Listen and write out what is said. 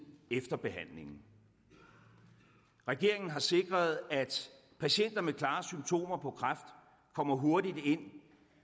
efter behandlingen regeringen har sikret at patienter med klare symptomer på kræft kommer hurtigt ind